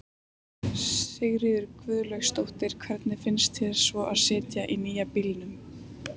Sigríður Guðlaugsdóttir: Hvernig finnst þér svo að sitja í nýja bílnum?